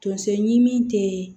Tonso ɲimi te